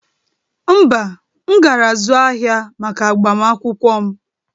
Mba, m gara zụụ ahịa maka agbamakwụkwọ m